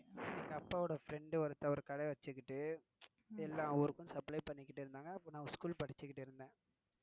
எங்க அப்பா friend ஒருத்தர் ஒரு கடை வச்சிட்டு எல்லா ஊருக்கும் supply பண்ணிட்டு இருந்தாங்க அப்போ நான் school படிச்சிட்டு இருந்தேன்.